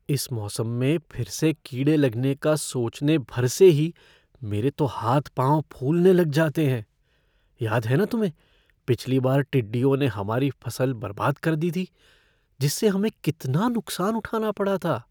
इस मौसम में फिर से कीड़े लगने का सोचने भर से ही मेरे तो हाथ पाँव फूलने लग जाते हैं। याद है न तुम्हें, पिछली बार टिड्डियों ने हमारी फसल बर्बाद कर दी थी जिससे हमें कितना नुकसान उठाना पड़ा था?